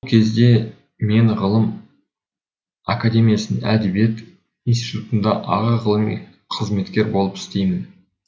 бұл кезде мен ғылым академиясының әдебиет институтында аға ғылыми қызметкер болып істеймін